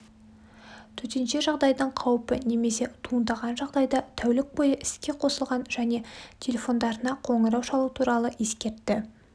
төтенше жағдайдын қауіпі немесе туындаған жағдайда тәулік бойы іске қосылған және телефондарына қоңырау шалу туралы ескертті